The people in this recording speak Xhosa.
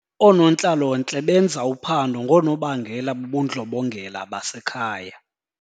Oonontlalontle benza uphando ngoonobangela bobundlobongela basekhaya.